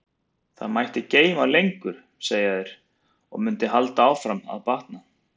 Það mætti geyma lengur, segja þeir, og mundi halda áfram að batna.